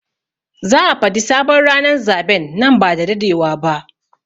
Za a Fadi sabon ranan zaben nan ba dadewa ba.